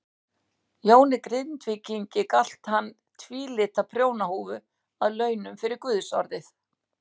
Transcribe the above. Jóni Grindvíkingi galt hann tvílita prjónahúfu að launum fyrir guðsorðið.